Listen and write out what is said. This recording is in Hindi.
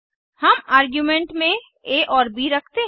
हम आर्गुमेंट में आ और ब रखते हैं